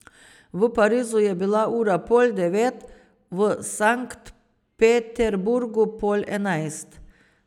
V Parizu je bila ura pol devet, v Sankt Peterburgu pol enajst.